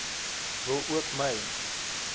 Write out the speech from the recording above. wil ook my